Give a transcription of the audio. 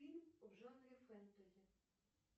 фильм в жанре фэнтези